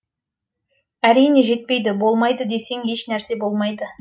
әрине жетпейді болмайды десең еш нәрсе болмайды